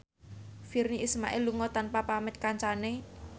Virnie Ismail lunga tanpa pamit kancane